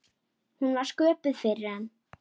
Hún var sköpuð fyrir hann.